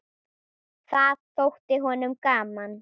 Það þótti honum gaman.